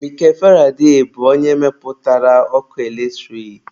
Mikel Faraday bụ onye mepụtara ọkụ eletrik.